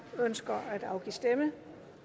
der ønsker at afgive stemme